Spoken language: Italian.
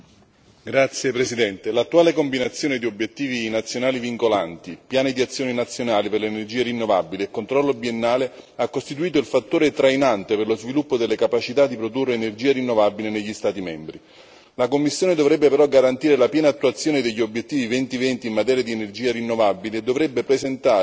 Signor Presidente, onorevoli colleghi, l'attuale combinazione di obiettivi nazionali vincolanti, piani di azione nazionali per le energie rinnovabili e controllo biennale ha costituito il fattore trainante per lo sviluppo delle capacità di produrre energia rinnovabile negli Stati membri. La Commissione dovrebbe però garantire la piena attuazione degli obiettivi 2020 in materia di energia rinnovabile e dovrebbe presentare